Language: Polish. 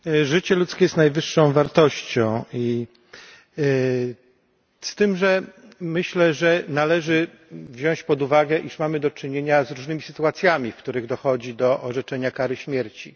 Panie Przewodniczący! Życie ludzkie jest najwyższą wartością, z tym, że myślę, że należy wziąć pod uwagę, iż mamy do czynienia z różnymi sytuacjami, w których dochodzi do orzeczenia kary śmierci.